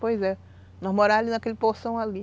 Pois é. Nós morávamos ali naquele Poção ali.